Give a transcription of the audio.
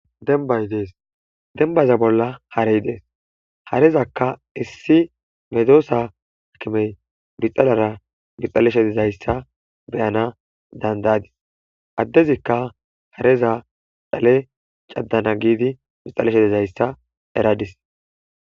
Dembay dees. Dembaza bolla harey dees. Harezakka issi medosa akimey bixalara bixxaleshe dizayssa be'ana danda'adis. Addezikka hareza dhale caddana giidi bixaleshe dizayssa eradis.